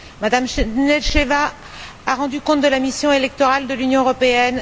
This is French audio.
Mme Nedelcheva a rendu compte de la mission électorale de l'Union européenne.